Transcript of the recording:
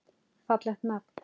Fallegt nafn.